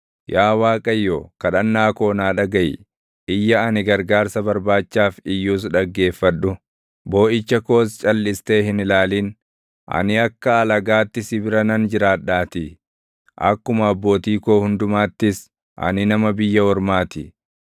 “Yaa Waaqayyo, kadhannaa koo naa dhagaʼi; iyya ani gargaarsa barbaachaaf iyyus dhaggeeffadhu; booʼicha koos calʼistee hin ilaalin. Ani akka alagaatti si bira nan jiraadhaatii; akkuma abbootii koo hundumaattis ani nama biyya ormaa ti.